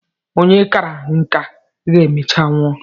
Onye kàrà nka ga-emecha nwụọ.